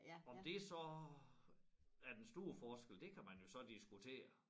Om det så er den store forskel det kan man jo så diskutere